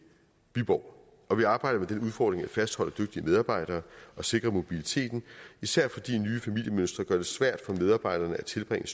viborg og vi arbejder med den udfordring at fastholde dygtige medarbejdere og sikre mobiliteten især fordi nye familiemønstre gør det svært for medarbejderne at tilbringe